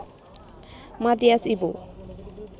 Mathias Ibo